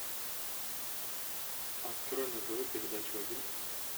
открой на тв передачу один